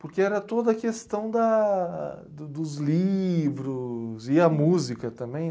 porque era toda a questão da do dos livros e a música também.